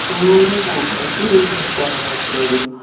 സൂര് പോകു~ മൈസൂര് പിന്നെ എനിക്കങ്ങനെ അത്രൊരു